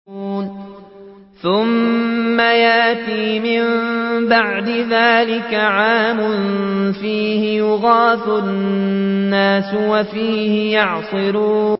ثُمَّ يَأْتِي مِن بَعْدِ ذَٰلِكَ عَامٌ فِيهِ يُغَاثُ النَّاسُ وَفِيهِ يَعْصِرُونَ